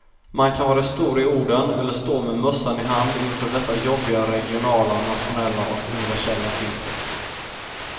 Man kan vara stor i orden eller stå med mössan i hand inför detta jobbiga regionala, nationella och universella ting.